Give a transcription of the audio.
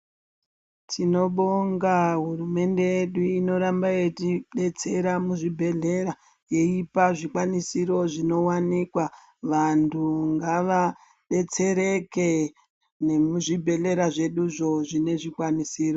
Tinobonga hurumende yedu inoramba yeitidetsera muzvibhedhlera yeipa zvikwanisiro zvinowanikwa. Vantu ngavadetsereke nemuzvibhedhlera zveduzvo nezvikwanisiro.